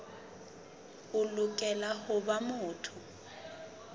o lokela ho ba motho